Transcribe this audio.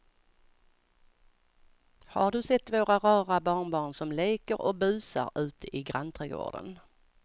Har du sett våra rara barnbarn som leker och busar ute i grannträdgården!